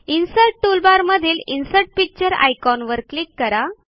insert toolbar मधील insert picture आयकॉनवर click करा